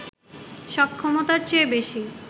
সক্ষমতার চেয়ে বেশি